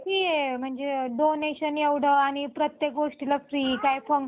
की म्हणजे donation एवढं आणि प्रत्येक गोष्टीला फी काय पण